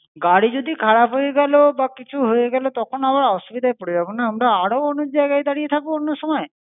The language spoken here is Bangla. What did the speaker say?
গাড়ি যদি খারাপ হয়ে গেলো বা কিছু হয়ে গেলো তখন আবার অসুবিধায় পরে যাবো না আমরা? আরো অনেক জায়গায় দাড়িয়ে থাকবো অন্য সময়?